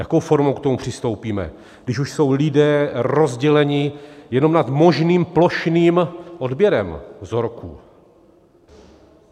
Jakou formou k tomu přistoupíme, když už jsou lidé rozděleni jenom nad možným plošným odběrem vzorků?